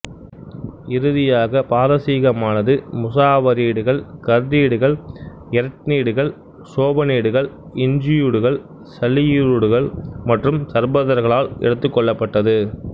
இறுதியாக பாரசீகமானது முசாபரிடுகள் கர்டிடுகள் எரெட்னிடுகள் சோபனிடுகள் இஞ்சுயுடுகள் சலயிருடுகள் மற்றும் சர்பதர்களால் எடுத்துக் கொள்ளப்பட்டது